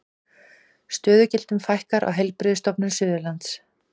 Stöðugildum fækkar á Heilbrigðisstofnun Suðurlands